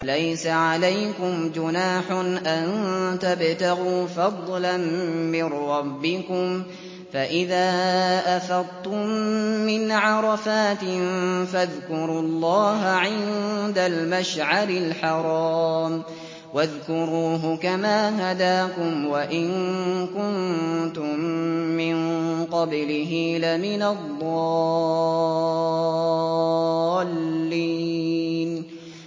لَيْسَ عَلَيْكُمْ جُنَاحٌ أَن تَبْتَغُوا فَضْلًا مِّن رَّبِّكُمْ ۚ فَإِذَا أَفَضْتُم مِّنْ عَرَفَاتٍ فَاذْكُرُوا اللَّهَ عِندَ الْمَشْعَرِ الْحَرَامِ ۖ وَاذْكُرُوهُ كَمَا هَدَاكُمْ وَإِن كُنتُم مِّن قَبْلِهِ لَمِنَ الضَّالِّينَ